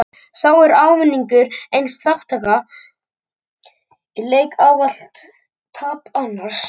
Þá er ávinningur eins þátttakanda í leik ávallt tap annars.